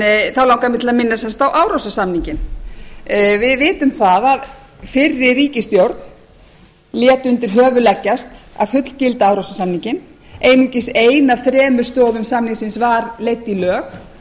þá langar mig til að minnast sem sagt á árósasamninginn við vitum að fyrri ríkisstjórn lét undir höfuð leggjast að fullgilda árósasamninginn einungis ein af þremur stoðum samningsins var leidd í lög